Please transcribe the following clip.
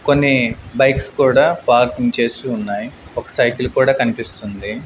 కొన్ని బైక్స్ కూడా పార్కింగ్ చేసి ఉన్నాయ్ ఒక సైకిల్ కూడా కన్పిస్తుంది.